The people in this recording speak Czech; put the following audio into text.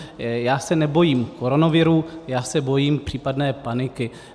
Já se nebojím koronaviru, já se bojím případné paniky.